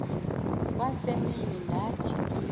kwa semini ndathi